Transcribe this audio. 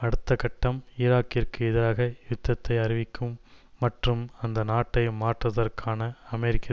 அடுத்த கட்டம் ஈராக்கிற்கு எதிராக யுத்தத்தை அறிவிக்கும் மற்றும் அந்த நாட்டை மாற்றுதற்கான அமெரிக்க